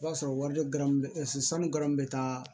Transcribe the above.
I b'a sɔrɔ wari dɔ garu bɛ se sanu garamu bɛ taa